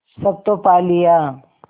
सब तो पा लिया